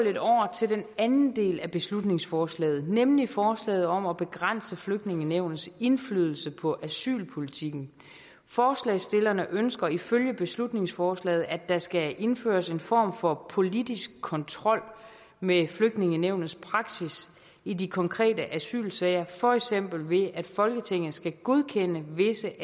til den anden del af beslutningsforslaget nemlig forslaget om at begrænse flygtningenævnets indflydelse på asylpolitikken forslagsstillerne ønsker ifølge beslutningsforslaget at der skal indføres en form for politisk kontrol med flygtningenævnets praksis i de konkrete asylsager for eksempel ved at folketinget skal godkende visse